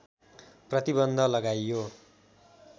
प्रतिबन्ध लगाइयो